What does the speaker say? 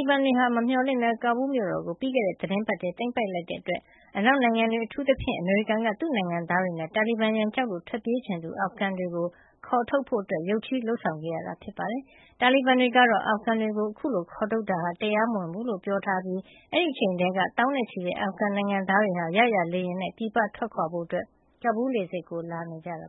ည်း ကိုယ်တိုင်တွေ့မြင်သူတွေက ပြောပါတယ်။ တာလီဘန်တွေက မမျှော်လင့်ပဲ ကာဘူလ်းမြို့တော်ကို ပြီးခဲ့တဲ့သီတင်းပတ်ထဲ သိမ်းပိုက်လိုက်တဲ့ အတွက် အနောက်နိုင်ငံတွေ အထူးသဖြင့် အမေရိကန်က သူ့နိုင်ငံသားတွေနဲ့ တာလီဘန်ရန်ကြောက်လို့ ထွက်ပြေးချင်သူ အာဖဂန်တွေကို ခေါ်ထုတ်ဖို့ ရုတ်ချည်းလုပ်ဆောင်ခဲ့ရတာ ဖြစ်ပါတယ်။ တာလီဘန်တွေကတော့ အာဖဂန်တွေကို ခုလို ခေါ်ထုတ်တာဟာ တရားမဝင်ဘူးလို့ ပြောထားတာ ဖြစ်ပြီး အဲဒီအချိန်ကတည်းက သောင်းနဲ့ချီတဲ့ အာဖဂန်နိုင်ငံသားတွေဟာ ရရာလေယာဉ်နဲ့ ပြည်ပထွက်ဖို့ ကာဘူလ်းလေဆိပ်ကို လာနေကြတာ